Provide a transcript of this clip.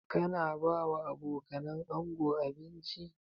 Ka na ba wa abokanan ango abinci?